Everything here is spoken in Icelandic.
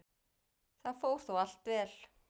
Það fór þó allt vel.